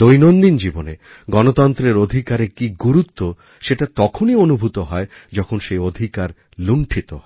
দৈনন্দিন জীবনে গনত্রন্ত্রের অধিকারের কী গুরুত্ব সেটা তখনই অনুভূত হয় যখন সেই অধিকার লুণ্ঠিতহয়